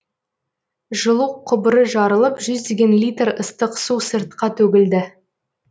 жылу құбыры жарылып жүздеген литр ыстық су сыртқа төгілді